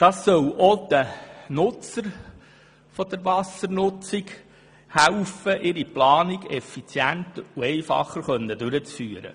Das soll auch den Nutzenden helfen, ihre Planung einfacher und effizienter durchzuführen.